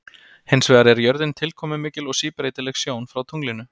Hins vegar er jörðin tilkomumikil og síbreytileg sjón frá tunglinu.